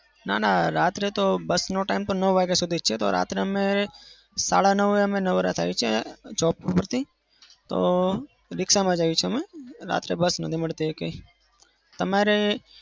ના ના રાત્રે તો bus નો time નવ વાગ્યા સુધી જ છે રાતે અમે સાડા નવ એ નવરા થઇ થાય છે job પરથી. તો રીક્ષામાં જઈએ છીએ. રાત્રે bus નથી મળતી એકય.